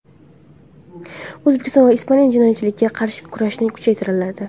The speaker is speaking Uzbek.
O‘zbekiston va Ispaniya jinoyatchilikka qarshi kurashni kuchaytiradi.